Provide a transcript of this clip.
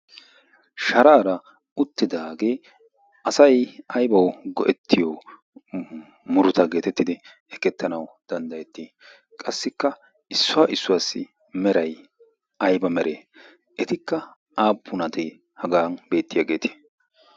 shaaraara uttidaagee asay aybau go'ettiyo muruta geetettidi ekettanau danddayettii qassikka issuwaa issuwaassi meray ayba mere etikka aappunatee haga beettiyaageetii?